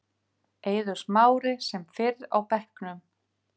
Eiður Smári sem fyrr á bekknum